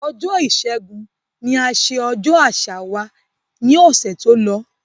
Ọjọ́ ìṣẹ́gun ni a ṣe ọjọ́ àṣà wa ni ọ̀sẹ̀ tó lọ